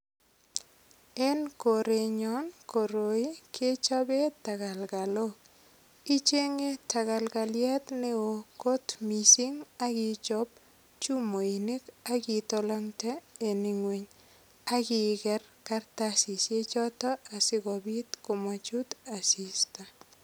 En korenyon koroi kechopen tekelkelok ichenye tekelkeliet neo kot mising akichop chumoinik akitolongte en ing'weny akiker kartasishek choto asikobit komochut asista.